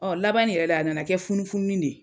Ɔ laban nin yɛrɛ la a nana kɛ funufununi ne ye